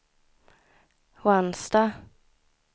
Ransta